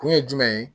Kun ye jumɛn ye